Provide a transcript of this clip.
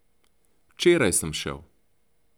Včeraj sem šel.